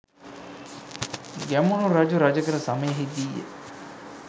ගැමුණු රජු රජ කළ සමයෙහිදීය.